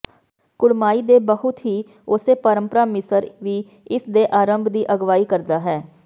ਕੁੜਮਾਈ ਦੇ ਬਹੁਤ ਹੀ ਉਸੇ ਪਰੰਪਰਾ ਮਿਸਰ ਵੀ ਇਸ ਦੇ ਆਰੰਭ ਦੀ ਅਗਵਾਈ ਕਰਦਾ ਹੈ